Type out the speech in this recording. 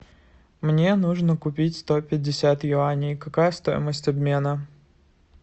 мне нужно купить сто пятьдесят юаней какая стоимость обмена